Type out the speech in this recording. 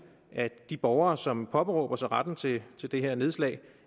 at de borgere som påberåber sig retten til til det her nedslag